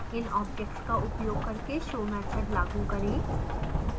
इनobjects का उपयोग करके show मैथड लागू करें